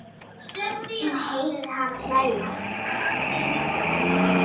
Hún heyrir hana hlæja.